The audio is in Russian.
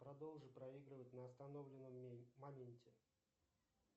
продолжи проигрывать на остановленном моменте